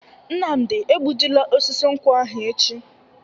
Nnamdi egbu ji la osisi nkwu ahụ echi!